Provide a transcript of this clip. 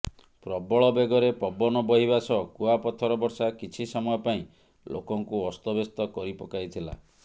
ପ୍ରବଳ ବେଗରେ ପବନ ବହିବା ସହ କୁଆପଥର ବର୍ଷା କିଛି ସମୟ ପାଇଁ ଲୋକଙ୍କୁ ଅସ୍ତବ୍ୟସ୍ତ କରିପକାଇଥିଲା